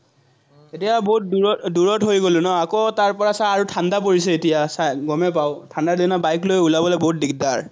এতিয়া বহুত দুৰত দুৰত হৈ গ'লো ন, আকৌ তাৰপৰা আৰু চা ঠাণ্ডা পৰিছে এতিয়া, গমে পাৱ, ঠাণ্ডা দিনত bike লৈ ওলাবলৈ বহুত দিগদাৰ।